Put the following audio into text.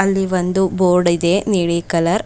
ಇಲ್ಲಿ ಒಂದು ಬೋರ್ಡ್ ಇದೆ ನೀಲಿ ಕಲರ್ .